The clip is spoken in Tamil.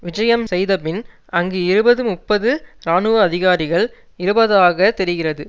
விஜயம் செய்தபின் அங்கு இருபது முப்பது இராணுவ அதிகாரிகள் இருபதாகத் தெரிகிறது